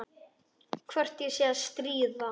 Hvort ég sé að stríða.